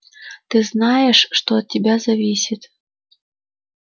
ты знаешь что от тебя зависит